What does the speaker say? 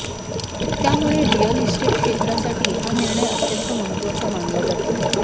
त्यामुळे real estate क्षेत्रासाठी हा निर्णय अत्यंत महत्त्वाचा मानला जातो